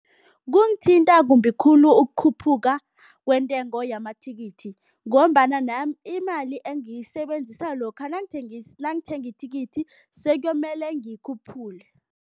Kungithinta kumbi khulu ukukhuphuka kwentengo yamathikithi ngombana nami imali engiyisebenzisa lokha nangithenga ithikithi sekuyomele ngiyikhuphule.